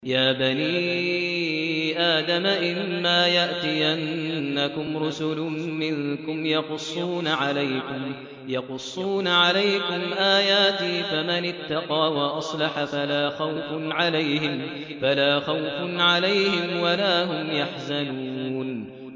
يَا بَنِي آدَمَ إِمَّا يَأْتِيَنَّكُمْ رُسُلٌ مِّنكُمْ يَقُصُّونَ عَلَيْكُمْ آيَاتِي ۙ فَمَنِ اتَّقَىٰ وَأَصْلَحَ فَلَا خَوْفٌ عَلَيْهِمْ وَلَا هُمْ يَحْزَنُونَ